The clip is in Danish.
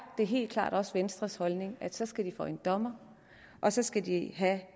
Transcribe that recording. det helt klart også venstres holdning at så skal de for en dommer og så skal de have